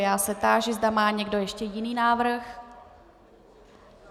Já se táži, zda má někdo ještě jiný návrh.